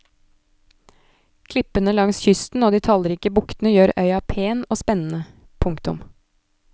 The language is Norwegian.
Klippene langs kysten og de tallrike buktene gjør øya pen og spennende. punktum